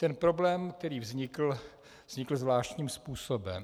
Ten problém, který vznikl, vznikl zvláštním způsobem.